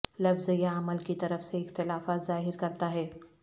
لفظ یا عمل کی طرف سے اختلافات ظاہر کرتا ہے